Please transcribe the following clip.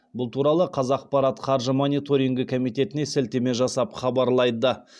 бұл туралы қазақпарат қаржы мониторингі комитетіне сілтеме жасап хабарлайды